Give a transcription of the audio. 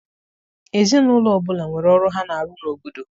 Ezinaụlọ ọbụla nwere ọrụ ha na-arụ n'obodo.